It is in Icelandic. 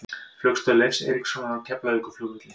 Flugstöð Leifs Eiríkssonar á Keflavíkurflugvelli.